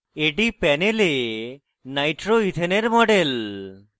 এটি panel nitroethane nitroethane এর model